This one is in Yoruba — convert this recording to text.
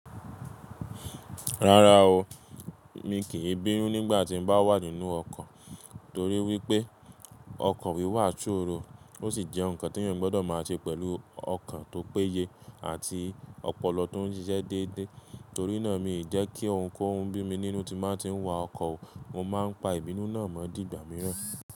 Rárá o, mi kì í bínú nígbà tí n bá wà nínú ọkọ̀ torí wípé ọkọ̀ wíwà ṣòro, ó sì jẹ́ ǹkan tí èèyàn gbọ́dọ̀ máa ṣe pẹ̀lú ọkan tó péye àti ọpọlọ tó ń ṣiṣẹ́ déédé. Torí náà mi ò jẹ́ kí ohunkóhun bí mi nínú tí màá tí ń wa ọkọ̀ o, mo máa ń pa ìbínú náà mọ́ dìgbà mìíràn.